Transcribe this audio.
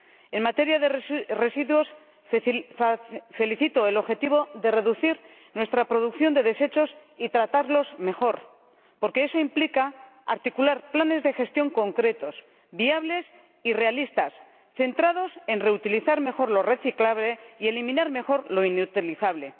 En materia de residuos, celebro el objetivo de reducir nuestra producción de desechos y de tratarlos mejor, porque eso implica articular planes de gestión concretos, viables y realistas, centrados en reutilizar mejor lo reciclable y en eliminar mejor lo inutilizable.